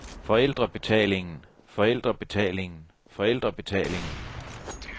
forældrebetalingen forældrebetalingen forældrebetalingen